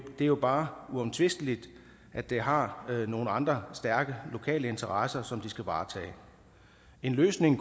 det er jo bare uomtvisteligt at de har nogle andre stærke lokale interesser som de skal varetage en løsning